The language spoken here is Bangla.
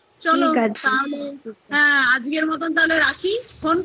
ঠিক আছে চলো ঠিক আছে আজকের মতন তাহলে রাখি phone